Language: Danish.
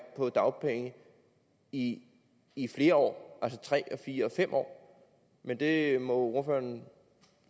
på dagpenge i i flere år altså tre eller fire eller fem år men det må ordføreren